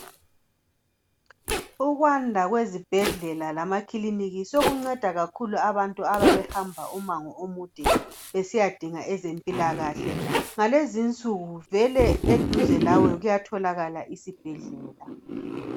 Ukwanda kwezibhedlela lama klinika sokunceda kakhulu abantu ababehamba kakhulu umango omude besiyadunga ezempilakahle , ngalezinsuku vele eduze lawe kuyatholakala isibhedlela